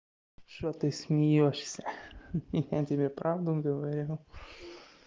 что ты смеёшься ха-ха я тебе правду говорю